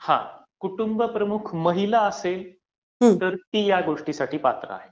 कुटुंबप्रमुख महिला असेल, तर ती या गोष्टीसाठी पात्र आहे.